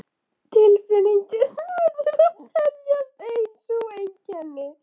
Tilfinningin verður að teljast ein sú einkenni